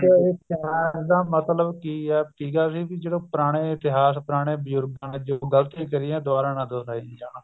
ਇਹਦਾ ਮਤਲਬ ਕੀ ਹੈ ਸੀਗਾ ਵੀ ਜਦੋਂ ਪੁਰਾਣੇ ਇਤਿਹਾਸ ਪੁਰਾਣੇ ਬਜੁਰਗਾਂ ਨੇ ਗ਼ਲਤੀਆ ਕਰੀਆਂ ਦੁਬਾਰਾ ਨਾ ਦੋਹਰਾਈਆਂ ਜਾਣ